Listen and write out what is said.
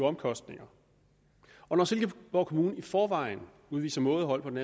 omkostninger og når silkeborg kommune i forvejen udviser mådehold på den